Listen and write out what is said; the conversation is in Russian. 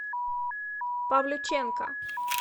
павлюченко